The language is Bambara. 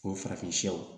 O farafinyaw